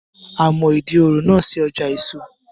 A mọ Ìdí òro náà sí ọjà èso